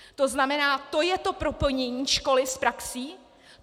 To znamená, to je to propojení školy s praxí?